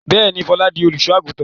Bẹ́ẹ̀ni, Fọlá di olùṣọ́-àgùntàn.